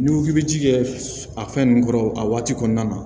N'i ko k'i bɛ ji kɛ a fɛn nun kɔrɔ a waati kɔnɔna na